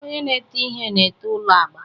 Onye na-ete ihe na-ete ụlọ agba.